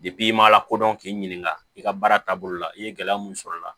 i ma lakodɔn k'i ɲininka i ka baara taabolo la i ye gɛlɛya mun sɔr'a la